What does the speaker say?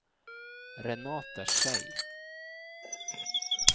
Renate Schei